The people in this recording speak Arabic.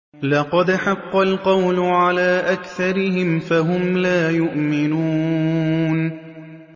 لَقَدْ حَقَّ الْقَوْلُ عَلَىٰ أَكْثَرِهِمْ فَهُمْ لَا يُؤْمِنُونَ